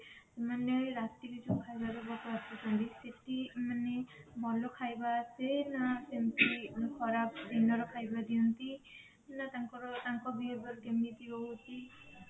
ସେମାନେ ରାତିରେ ଯୋଉ ଖାଇବା ଦବାକୁ ଆସୁଛନ୍ତି ସେଠି ମାନେ ଭଲ ଖାଇବା ଆସେ ନା ସେମିତି ଖରାପ ଦିନର ଖାଇବା ଦିଅନ୍ତି ନା ତାଙ୍କର ତାଙ୍କ behavior କେମିତି ରହୁଛି